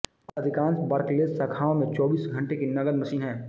अधिकांश बार्कलेज शाखाओं में चौबीस घंटे की नकद मशीन है